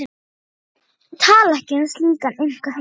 Þau tala ekki um slíkan einkaheim.